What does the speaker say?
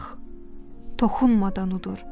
Bax, toxunmadan udur.